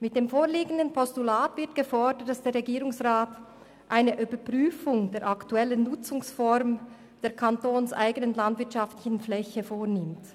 Mit dem vorliegenden Postulat wird gefordert, der Regierungsrat solle eine Überprüfung der aktuellen Nutzungsform der kantonseigenen landwirtschaftlichen Fläche vornehmen.